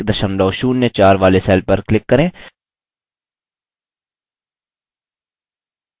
कुल संख्या 970104 वाले cell पर click करें